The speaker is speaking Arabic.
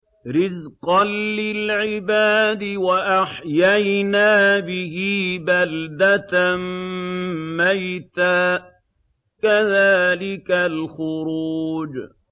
رِّزْقًا لِّلْعِبَادِ ۖ وَأَحْيَيْنَا بِهِ بَلْدَةً مَّيْتًا ۚ كَذَٰلِكَ الْخُرُوجُ